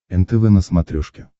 нтв на смотрешке